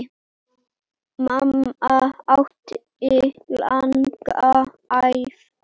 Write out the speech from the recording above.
Mamma átti langa ævi.